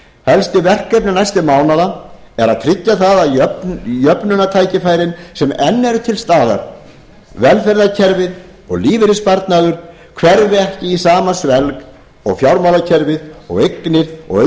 helstu verkefni næstu mánaða eru að tryggja að jöfnunartækifærin sem enn eru til staðar velferðarkerfið og lífeyrissparnaður hverfi ekki í sama svelg og fjármálakerfið og eignir og auðlindir